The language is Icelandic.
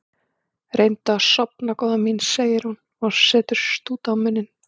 Reyndu að sofna góða mín, segir hún og setur stút á munninn.